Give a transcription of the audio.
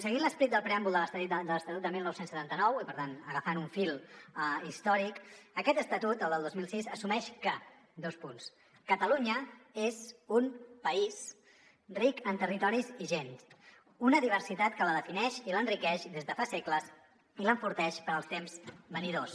seguint l’esperit del preàmbul de l’estatut del dinou setanta nou i per tant agafant un fil històric aquest estatut el del dos mil sis assumeix que catalunya és un país ric en territoris i gents una diversitat que la defineix i l’enriqueix des de fa segles i l’enforteix per als temps venidors